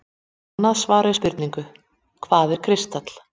annað svar við spurningunni „hvað er kristall“